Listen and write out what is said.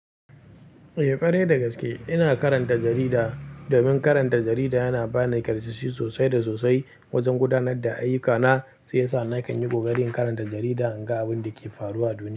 Eh, ƙwarai da gaske ina karanta jarida. Domin karanta jarida yana ba ni karsassu sosai da sosai wajen gudanar da ayyukana, shi ya sa na kan yi ƙoƙari in karanta jarida in ga abin da ke faruwa a duniya.